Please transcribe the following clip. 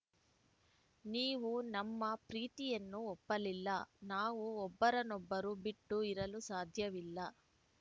ನೀವು ನಮ್ಮ ಪ್ರೀತಿಯನ್ನು ಒಪ್ಪಲಿಲ್ಲ ನಾವು ಒಬ್ಬರನೊಬ್ಬರು ಬಿಟ್ಟು ಇರಲು ಸಾಧ್ಯವಿಲ್ಲ